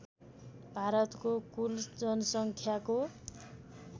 भारतको कुल जनसङ्ख्याको